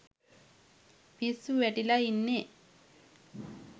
පිස්සු වැටිලා ඉන්නේ.